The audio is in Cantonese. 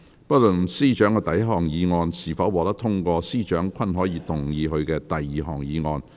不論司長的第一項議案是否獲得通過，司長均可動議他的第二項議案。